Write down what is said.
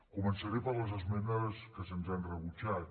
començaré per les esmenes que se’ns han rebutjat